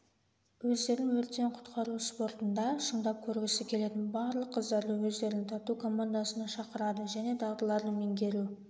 өздерін өрттен-құтқару спортында шыңдап көргісі келетін барлық қыздарды өздерінің тату командасына шақырады және дағдыларды меңгеру